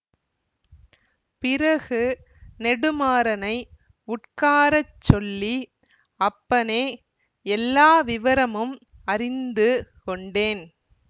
பிறகு நெடுமாறனை உட்கார சொல்லி அப்பனே எல்லா விவரமும் அறிந்து கொண்டேன்